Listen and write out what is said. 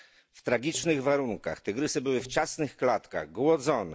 W tragicznych warunkach tygrysy były w ciasnych klatkach, głodzone.